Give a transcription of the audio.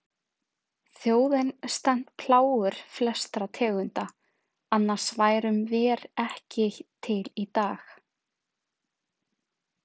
Þjóðin stenst plágur flestra tegunda, annars værum vér ekki til í dag.